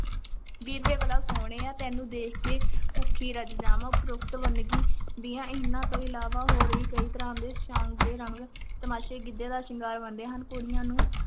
ਵੀਰ ਵੇ ਬਲਾ ਸੋਹਣਿਆਂ, ਤੈਨੂੰ ਦੇਖ ਕੇ ਭੁੱਖੀ ਰੱਜ ਜਾਵਾਂ, ਉਪਰੋਕਤ ਵੰਨਗੀ ਦੀਆਂ ਇਹਨਾਂ ਤੋਂ ਇਲਾਵਾ ਹੋਰ ਵੀ ਕਈ ਤਰ੍ਹਾਂ ਦੇ ਸਾਂਗ ਤੇ ਰੰਗ ਤਮਾਸ਼ੇ ਗਿੱਧੇ ਦਾ ਸ਼ਿੰਗਾਰ ਬਣਦੇ ਹਨ, ਕੁੜੀਆਂ ਨੂੰ